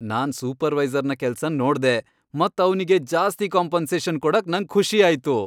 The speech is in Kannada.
ನಾನ್ ಸೂಪರ್ವೈಸರ್ನ ಕೆಲ್ಸನ್ ನೋಡ್ದೆ ಮತ್ ಅವ್ನಿಗೆ ಜಾಸ್ತಿ ಕಾಂಪೆನ್ಸೇಷನ್ ಕೊಡಕ್ ನಂಗ್ ಖುಷಿ ಆಯ್ತು.